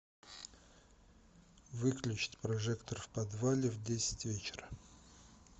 выключить прожектор в подвале в десять вечера